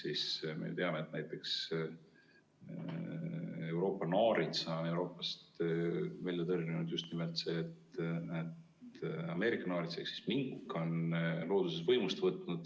Ehk me teame, et näiteks Euroopa naaritsa on Euroopast tõrjunud just nimelt see, et Ameerika naarits ehk mink on looduses võimust võtnud.